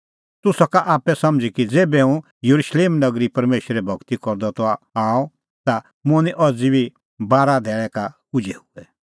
तूह सका आप्पै समझ़ी कि ज़ेभै हुंह येरुशलेम नगरी परमेशरे भगती करदअ आअ ता मुंह निं अज़ी बारा धैल़ै का उझै हुऐ